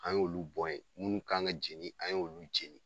An y'olu bɔn ye, munnu kan ŋa jeni, an y'olu jeni.